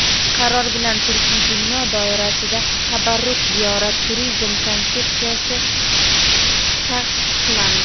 Qaror bilan turkiy dunyo doirasida "Tabarruk ziyorat" turizm konsepsiyasi tasdiqlandi.